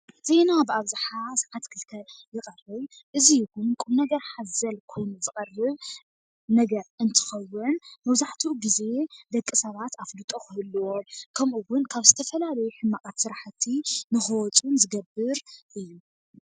ዜና ብኣብዝሓ ሰዓት ክልተ ይቐርብ፡፡ እዚ ውን ቁም ነገር ሓዘል ኮይኑ ዝቐርብ ነገር እንትኸውን መብዛሕትኡ ግዜ ደቂ ሰባት ኣፍልጦ ክህልዎም ከምኡውን ካብ ዝተፈላለዩ ሕማቓት ስራሕቲ ንኽወፁን ዝገብር እዩ፡፡